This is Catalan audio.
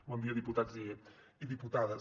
bon dia diputats i diputades